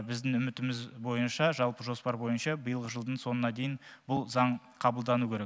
біздің үмітіміз бойынша жалпы жоспар бойынша биылғы жылдың соңына дейін бұл заң қабылдану керек